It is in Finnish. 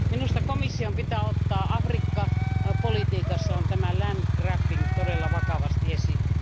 Minusta komission pitää ottaa Afrikka politiikassaan tämä land grabbing todella vakavasti esille.